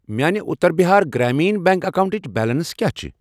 میانہِ اُتر بِہار گرٛامیٖن بیٚنٛک اکاونٹٕچ بیلنس کیٛاہ چھِ۔